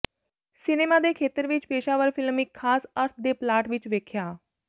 cinema ਦੇ ਖੇਤਰ ਵਿੱਚ ਪੇਸ਼ਾਵਰ ਫਿਲਮ ਇੱਕ ਖਾਸ ਅਰਥ ਦੇ ਪਲਾਟ ਵਿੱਚ ਵੇਖਿਆ